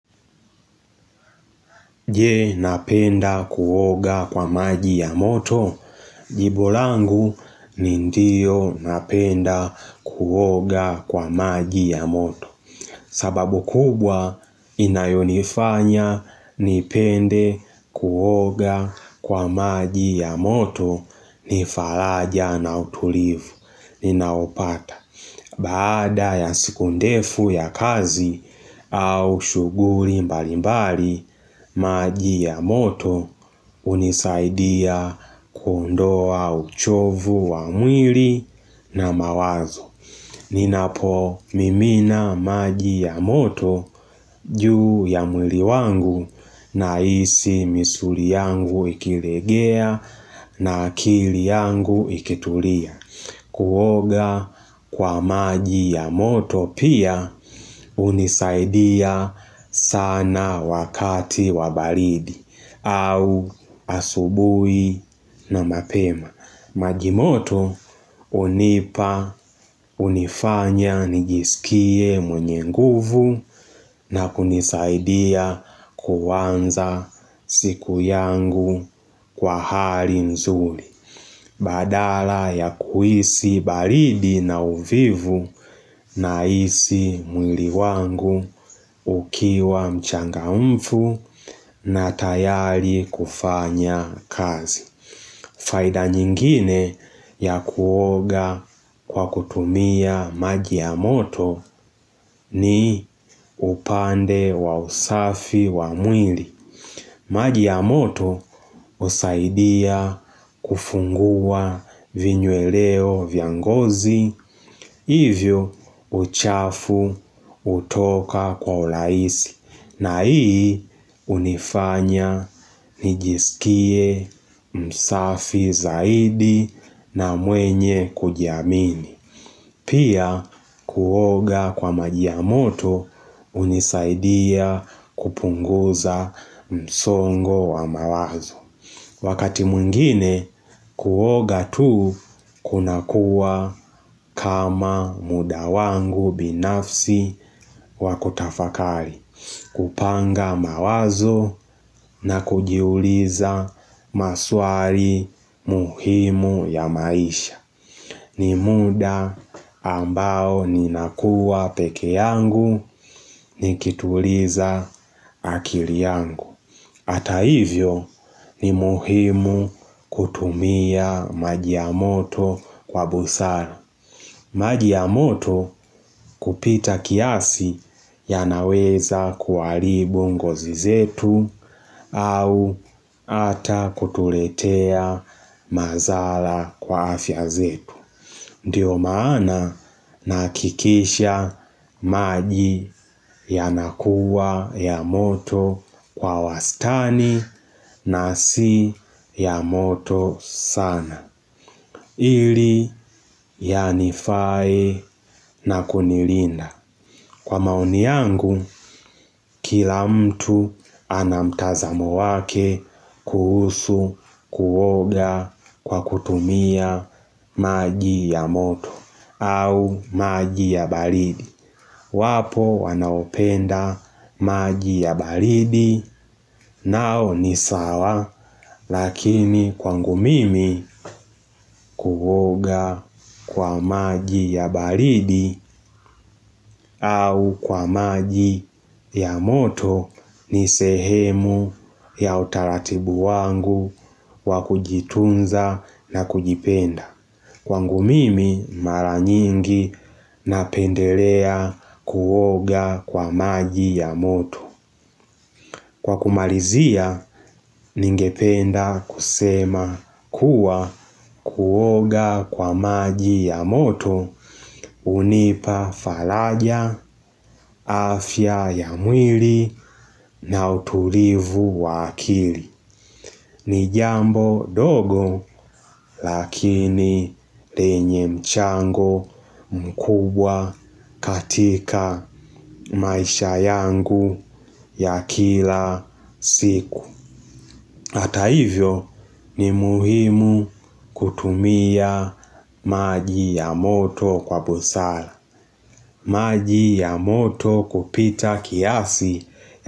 Je napenda kuoga kwa maji ya moto, jibu langu, ni ndio napenda kuoga kwa maji ya moto. Sababu kubwa inayonifanya nipende kuoga kwa maji ya moto, ni falaja na utulivu, ninaopata. Baada ya siku ndefu ya kazi au shughuli mbalimbali, maji ya moto hunisaidia kuondoa uchofu wa mwili na mawazo. Ninapo mimina maji ya moto, juu ya mwili wangu, nahisi misuli yangu ikilegea na akili yangu ikitulia. Kuoga kwa maji ya moto pia hunisaidia sana wakati wa baridi au asubuhi na mapema. Maji moto hunipa hunifanya nijisikie mwenye nguvu na kunisaidia kuanza siku yangu kwa hali nzuri Badala ya kuhisi baridi na uvivu nahisi mwili wangu ukiwa mchangamfu na tayari kufanya kazi. Faida nyingine ya kuoga kwa kutumia maji ya moto ni upande wa usafi wa mwili. Maji ya moto husaidia kufungua vinyweleo vya ngozi, hivyo uchafu hutoka kwa hurahisi, na hii hunifanya nijisikie msafi zaidi na mwenye kujiamini. Pia kuoga kwa maji ya moto, hunisaidia kupunguza msongo wa mawazo. Wakati mwingine kuoga tu, kunakuwa kama muda wangu binafsi wa kutafakari. Kupanga mawazo na kujiuliza maswali muhimu ya maisha. Ni muda ambao ninakua peke yangu nikituliza akili yangu. Hata hivyo ni muhimu kutumia maji ya moto kwa busara. Maji ya moto kupita kiasi yanaweza kuharibu ngozi zetu au ata kutuletea madhara kwa afya zetu. Ndiyo maana nahakikisha maji yanakuwa ya moto kwa wastani na si ya moto sana. Ili yanifae na kunilinda. Kwa maoni yangu, kila mtu anamtazamo wake kuhusu kuoga kwa kutumia maji ya moto au maji ya baridi. Wapo wanaopenda maji ya baridi nao ni sawa lakini kwangu mimi kuoga kwa maji ya baridi au kwa maji ya moto ni sehemu ya utaratibu wangu wakujitunza na kujipenda. Kwangu mimi mara nyingi napendelea kuoga kwa maji ya moto. Kwa kumalizia ningependa kusema kuwa kuoga kwa maji ya moto hunipa faraja afya ya mwili na utulivu wa akili. Ni jambo dogo lakini lenye mchango mkubwa katika maisha yangu ya kila siku. Hata hivyo, ni muhimu kutumia maji ya moto kwa busara. Maji ya moto kupita kiasi.